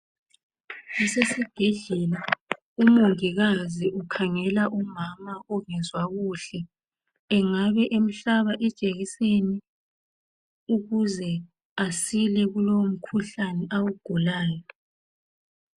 Kusesibhedlela umongikazi ukhangela umama ongezwa kuhle. Engabe emhlaba ijekiseni ukuze asile kulowo mkhuhlane awugulayo.